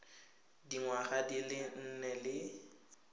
dingwaga di le nne le